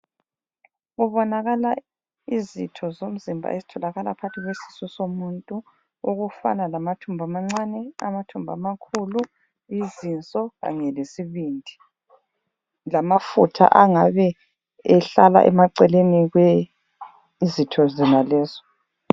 Kubonakala izitho zomzimba ezitholaka phakathi kwesisu somuntu okufana lamathumbu amancane, amathumbu amakhulu, izinso kanye lesibindi lamafutha angabe ehlala emaceleni kwezitho zonalezo.